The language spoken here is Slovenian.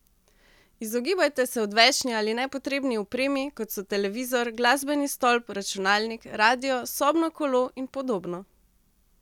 Izogibajte se odvečni ali nepotrebni opremi, kot so televizor, glasbeni stolp, računalnik, radio, sobno kolo in podobno.